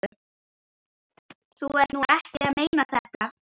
Þú ert nú ekki að meina þetta!